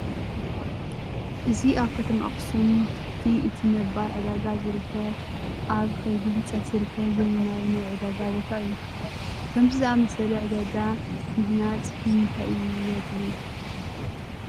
እዚ ኣብ ከተማ ኣኽሱም ትሕቲ እቲ ነባር ዕዳጋ ዝርከብ ኣብ ከይዲ ህንፀት ዝርከብ ዘመናዊ ናይ ዕዳጋ ቦታ እዩ፡፡ ከምዚ ዝኣምሰለ ዕዳጋ ምህንፅ ንምንታይ እዩ ኣድልዩ?